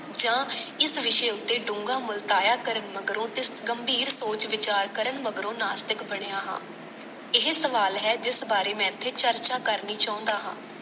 ਜਾਂ ਇਸ ਵਿਸ਼ੇ ਉੱਤੇ ਡੂੰਘਾ ਮੁਲਤਾਇਆ ਕਰਨ ਮਗਰੋਂ ਤੇ ਗੰਭੀਰ ਸੋਚ ਵਿਚਾਰ ਕਰਨ ਮਗਰੋਂ ਨਾਸਤਿਕ ਬਣਿਆਂ ਹਾਂ। ਇਹ ਸਵਾਲ ਹੈ ਜਿਸ ਬਾਰੇ ਮੈਂ ਇੱਥੇ ਚਰਚਾ ਕਰਨੀ ਚਾਉਂਦਾ ਹਾਂ।